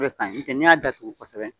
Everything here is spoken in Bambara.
O de ka ɲi ni tɛ n'i y'a datugu kosɛbɛ